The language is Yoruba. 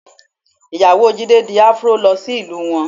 Ìyàwó Jídé di Afro lọ sí ìlú wọn